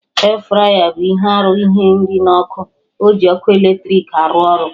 E-fraya bụ ihe arụ ihe nri na ọkụ, oji ọkụ eletrik arụ ọrụ